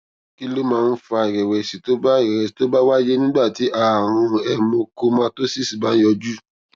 kí ló máa ń fa ìrèwèsì tó bá ìrèwèsì tó bá wáyé nígbà tí àrùn hemochromatosis bá ń yọjú